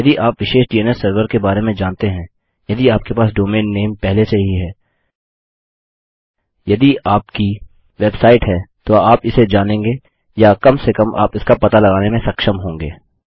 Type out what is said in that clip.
यदि आप विशेष डीएनएस सर्वर के बारे में जानते हैं यदि आपके पास डोमैन नेम पहले से ही है यदि आपकी वेबसाइट है तो आप इसे जानेंगे या कम से कम आप इसका पता लगाने में सक्षम होंगे